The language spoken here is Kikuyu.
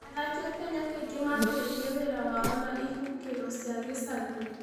Athaki a Kenya kaingĩ mambĩrĩria wĩra wao na ihũngĩro cia gĩcagi.